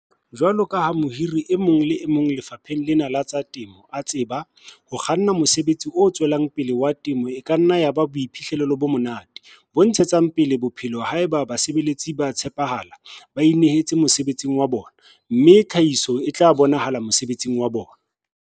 Jwalo ka ha mohiri e mong le e mong lefapheng lena la temo a tseba, ho kganna mosebetsi o tswelang pele wa temo e ka nna ya ba boiphihlelo bo monate, bo ntshetsang pele bophelo haeba basebeletsi ba tshepahala, ba inehetse mosebetsing wa bona, mme tlhahiso e bonahala mosebetsing wa bona.